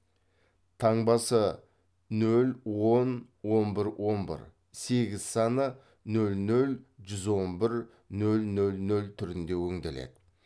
таңбасы нөл он он бір он бір сегіз саны нөл нөл жүз он бір нөл нөл нөл түрінде өңделеді